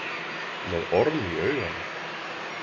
Með orm í auganu